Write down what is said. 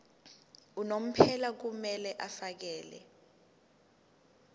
unomphela kumele afakele